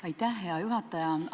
Aitäh, hea juhataja!